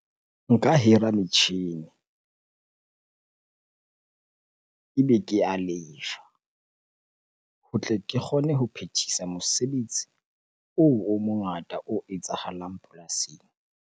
Nka hira metjhini ebe ke a lefa ho tle ke kgone ho phethisa mosebetsi oo o mongata o etsahalang polasing.